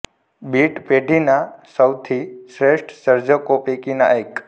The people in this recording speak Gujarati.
બીટ પેઢી ના સૌથી શ્રેષ્ઠ સર્જકો પૈકીના એક